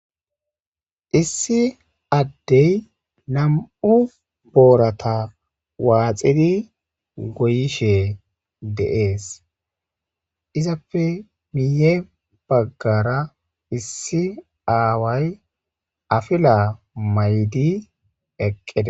Issi Adey nam'u boorata waxid goyishe de'es. Izappe miye bagara issi aaway apila mayid eqides.